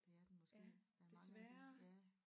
Det er den måske der er mange af de ja